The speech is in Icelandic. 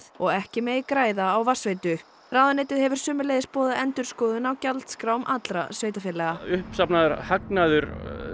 og ekki megi græða á vatnsveitu ráðuneytið hefur sömuleiðis boðað endurskoðun á gjaldskrám allra sveitarfélaga uppsafnaður hagnaður